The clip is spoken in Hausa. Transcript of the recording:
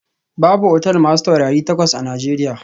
Babu otal masu taurari takwas a Najeriya